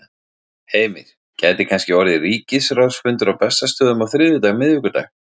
Heimir: Gæti kannski orðið ríkisráðsfundur á Bessastöðum á þriðjudag, miðvikudag?